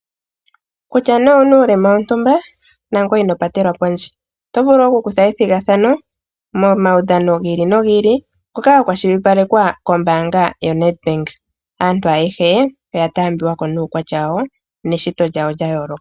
Kutya nee owu na uulema wontumba nangoye ino patelwa pondje. Oto vulu okukutha ethigathano momaudhano gi ili nogi ili ngoka ga kwashilipalekwa kombaanga yoNedbank. Aantu ayehe oya taambiwa ko nuukwatya wawo neshito lyawo lya yooloka.